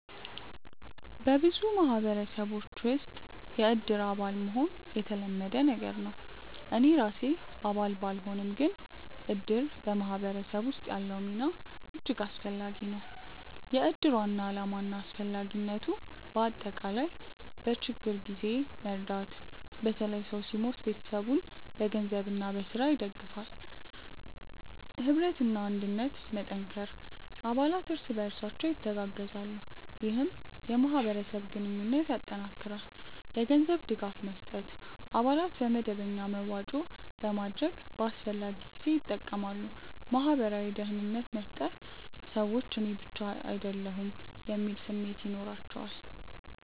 በብዙ ማህበረሰቦች ውስጥ “የእድር አባል” መሆን የተለመደ ነገር ነው። እኔ ራሴ አባል ባልሆንም፣ ግን እድር በማህበረሰብ ውስጥ ያለው ሚና እጅግ አስፈላጊ ነው። የእድር ዋና ዓላማና አስፈላጊነት በአጠቃላይ፦ በችግኝ ጊዜ መርዳት – በተለይ ሰው ሲሞት ቤተሰቡን በገንዘብና በሥራ ይደግፋል። ኅብረትና አንድነት መጠንከር – አባላት እርስ በርሳቸው ይተጋገዛሉ፣ ይህም የማህበረሰብ ግንኙነትን ያጠናክራል። የገንዘብ ድጋፍ መስጠት – አባላት በመደበኛ መዋጮ በማድረግ በአስፈላጊ ጊዜ ይጠቀማሉ። ማህበራዊ ደህንነት መፍጠር – ሰዎች “እኔ ብቻ አይደለሁም” የሚል ስሜት ይኖራቸዋል